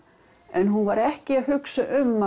en hún var ekki að hugsa um